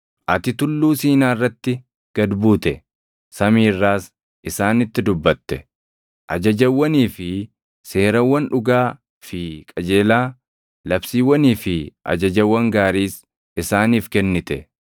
“Ati Tulluu Siinaa irratti gad buute; samii irraas isaanitti dubbate. Ajajawwanii fi seerawwan dhugaa fi qajeelaa, labsiiwwanii fi ajajawwan gaariis isaaniif kennite.